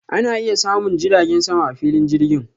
Ana iya samun jiragen sama a filin jirgin.